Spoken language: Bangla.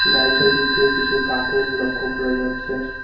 গাড়িটার ভিতরে কিছু কার্টুন লক্ষ্য করা যাচ্ছে।